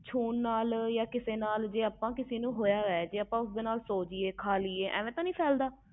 ਛੋਹ ਲਏ ਕਿਸੇ ਨਾਲ ਸੋ ਜਾਏ ਜਾ ਕਿਸੇ ਨਾਲ ਖਾ ਪੀ ਲਈਏ ਐਵੇ ਤੇ ਨਹੀਂ ਹੁੰਦਾ